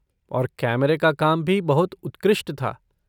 और कैमरा का काम भी बहुत उत्कृष्ट था।